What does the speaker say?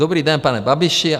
Dobrý den, pane Babiši.